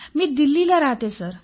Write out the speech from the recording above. मी दिल्लीला राहते सर